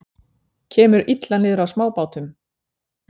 Kemur illa niður á smábátum